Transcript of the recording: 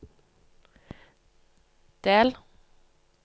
del